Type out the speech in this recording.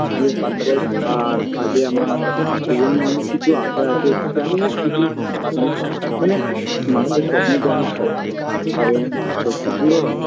এই ফুটবল আর আগে আমার জীবন নিয়ে অনেক কিছু আশা আছে জানিনা কিছুই অনেক মানে মানুষের স্বপ্ন তো অনেক থাকে তাবলে সত্যি পুরো হয়